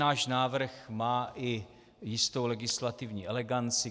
Náš návrh má i jistou legislativní eleganci.